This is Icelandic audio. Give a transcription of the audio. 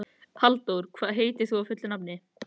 Halldór, hvað heitir þú fullu nafni?